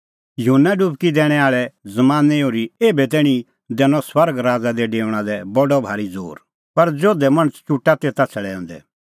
युहन्ना डुबकी दैणैं आल़े ज़मानैं ओर्ही एभै तैणीं दैनअ स्वर्ग राज़ा दी डेऊणा लै बडअ भारी ज़ोर पर जोधै मणछ चुटा तेता छ़ड़ैऊंदै